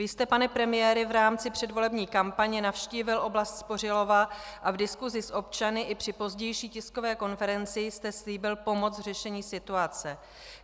Vy jste, pane premiére, v rámci předvolební kampaně navštívil oblast Spořilova a v diskusi s občany i při pozdější tiskové konferenci jste slíbil pomoc v řešení situace.